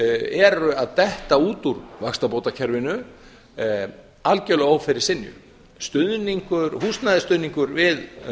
eru að detta út úr vaxtabótakerfinu algjörlega að ófyrirsynju húsnæðisstuðningur við